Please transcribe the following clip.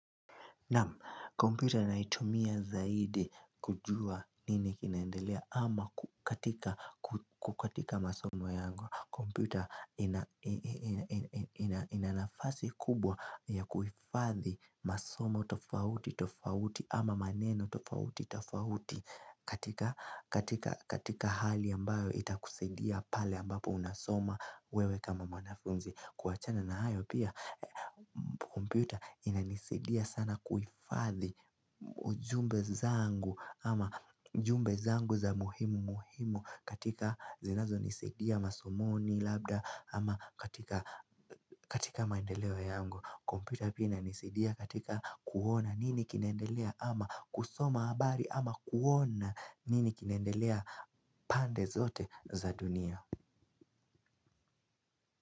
Kompyuta naitumia zaidi kujua nini kinaendelea ama katika masomo yangu. Kompyuta inanafasi kubwa ya kuhufadhi masomo tofauti tofauti ama maneno tofauti tofauti katika hali ambayo itakusaidia pale ambapo unasoma wewe kama mwanafunzi kuachana na hayo pia, kompyuta inanisidia sana kuhifadhi ujumbe zangu ama jumbe zangu za muhimu muhimu katika zinazo nisidia masomoni labda ama katika maendeleo yangu. Kompyuta pia inisidia katika kuona nini kinendelea ama kusoma habari ama kuona nini kinendelea pande zote za dunia.